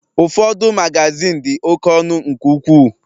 Ụfọdụ Magazin di oké ọnụ nke ukwuu